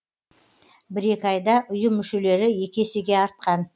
бір екі айда ұйым мүшелері екі есеге артқан